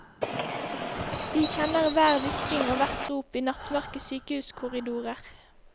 De kjenner hver hvisking og hvert rop i nattmørke sykehuskorridorer.